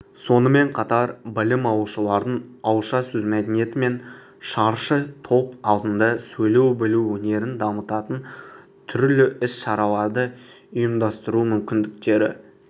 сонымен қатар білім алушылардың ауызша сөз мәдениеті мен шаршытоп алдында сөйлей білу өнерін дамытатын түрлі іс-шараларды ұйымдастыру мүмкіндіктері